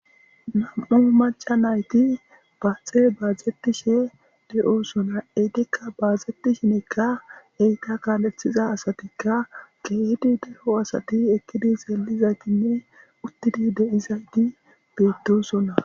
Nam7u maca nayti baatxe baazetishe de7osona eytikka baazeti shinekka eyta kaalethiza asatikka geehdi deho asati ekkidi seelizaytinne uttidi deizayti beedosona.